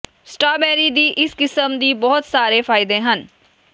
strawberry ਦੀ ਇਸ ਕਿਸਮ ਦੀ ਬਹੁਤ ਸਾਰੇ ਫਾਇਦੇ ਹਨ